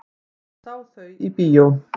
Hann sá þau í bíó.